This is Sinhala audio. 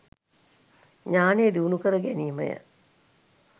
ඥානය දියුණු කර ගැනීම ය.